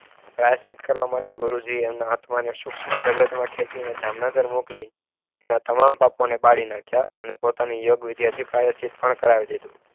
પ્રાયશ્ચિત કરવા માટે ગુરુજીને આત્માને સૂક્ષ્મ જગતમાં ખેંચીને જામનગર મોકલ. એવા તમામ પાપોને બાળી નાખ્યા અને પોતાની યોગ વિદ્યાથી પ્રાયશ્ચિત પણ કરાવી દીધું.